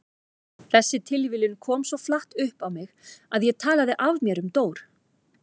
Þessi tilviljun kom svo flatt upp á mig að ég talaði af mér um Dór.